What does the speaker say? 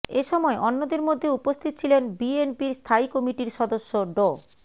এ সময় অন্যদের মধ্যে উপস্থিত ছিলেন বিএনপির স্থায়ী কমিটির সদস্য ড